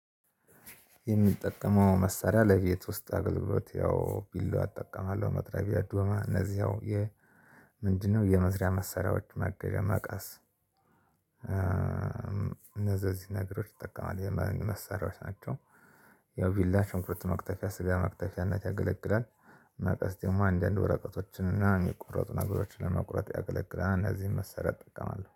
የሚጠቀመው መሳሪያ ለቤት ውስጥ አገልግሎት ያው ቢላዋ እጠቀማለሁ መጥረቢያ ዶማ እነዚህ ያው የ ምንድነው የመስሪያ መሳሪያዎች ማገዣ መቀስ? እነዚህ እዚህ ነገሮች እጠቀማለሁ የመንግ መሳሪያዎች ናቸው። ያው ቢላ ሽንኩርት መክተፊያ ስጋ መክተፊያነት ያገለግላል። መቀስ ደግሞ አንዳንድ ወረቀቶችና የሚቆረጡ ነገሮችን ለመቁረጥ ያገለግላል። እነዚህን መሳሪያዎች እጠቀማለሁ